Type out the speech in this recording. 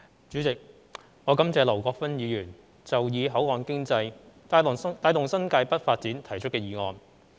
主席，我感謝劉國勳議員提出"以口岸經濟帶動新界北發展"的議案。